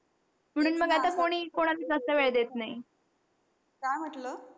काय म्हटलं?